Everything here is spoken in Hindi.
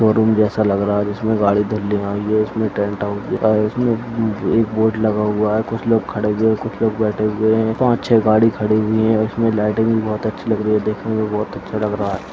शोरूम जैसा लग रहा है जिसमें गाड़ी धुलने आई है उसमें टेंट हाउस ए उसमें एक बोर्ड लगा हुआ है कुछ लोग खड़े हुए हैं कुछ लोग बैठे हुए हैं पांच छे गाड़ी खड़ी हुई है उसमें लाइटिंग बहुत अच्छी लग रही है देखने में बहुत अच्छा लग रहा है।